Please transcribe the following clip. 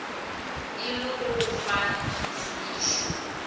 e le go fa ditsebišo